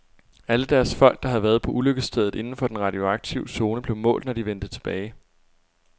Alle deres folk, der havde været på ulykkesstedet inden for den radioaktive zone, blev målt, når de vendte tilbage.